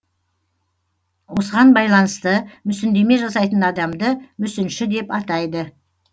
осыған байланысты мүсіндеме жасайтын адамды мүсінші деп атайды